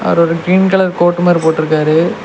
அவுரு ஒரு green colour coat மார் போட்ருக்காரு.